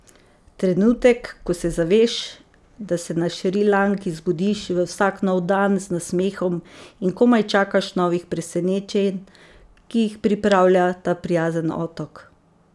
Trenutek, ko se zaveš, da se na Šrilanki zbudiš v vsak nov dan z nasmehom in komaj čakaš novih presenečenj, ki jih pripravlja ta prijazen otok.